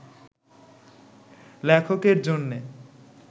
লেখকের জন্যে